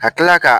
Ka kila ka